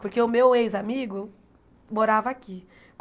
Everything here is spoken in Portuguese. Porque o meu ex-amigo morava aqui.